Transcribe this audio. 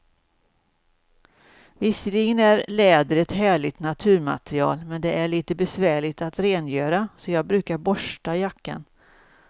Visserligen är läder ett härligt naturmaterial, men det är lite besvärligt att rengöra, så jag brukar borsta jackan.